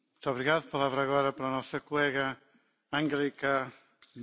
Sehr geehrter Herr Präsident, Herr Kommissar, geschätzte Kolleginnen und Kollegen!